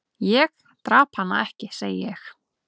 """Ég drap hann ekki, segi ég."""